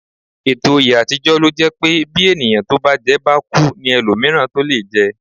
Ọ̀pọ̀ oyè àtijọ́ lo jẹ́ pé bí ẹni tó bá jẹ́ bá kú ní ẹlòmíràn tó lè jẹ́